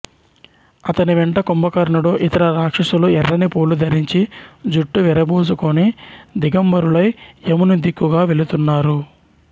అతని వెంట కుంభకర్ణుడు ఇతర రాక్షసులు ఎర్రని పూలు ధరించి జుట్టు విరబోసుకుని దిగంబరులై యముని దిక్కుగా వెళుతున్నారు